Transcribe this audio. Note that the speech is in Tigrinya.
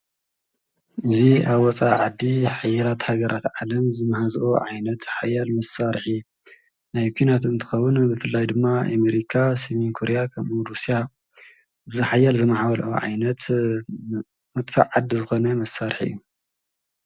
እዙይ ኣወፃኢ ዓዲ ሓያላት ሃገራት ዓለም ዝመሕዝኦ ዓይነት ሓያል ምሳርሒ ናይ ኲናት እንትኸዉን ብፍላይ ድማ ኣሜሪካ ፣ሰሜንኮርያ ፣ኸምኡ ሩስያ ዝኃያል ዘመዓበልኦ ዓይነት መድፍዕ ዓዲ ዝኾነ ምሳርሕ እዩ።